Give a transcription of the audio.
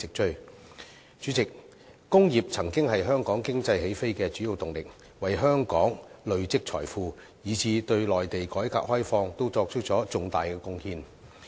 代理主席，工業曾經是香港經濟起飛的主要動力，為香港累積財富，以致對內地的改革開放亦作出重大貢獻。